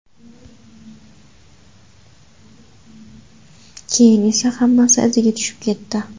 Keyin esa hammasi iziga tushib ketdi.